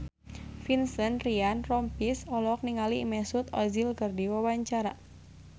Vincent Ryan Rompies olohok ningali Mesut Ozil keur diwawancara